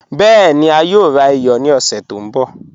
Bẹẹ̀ni, a yòò rà iyọ̀ ní ọ̀ṣẹ̀ tó nbọ̀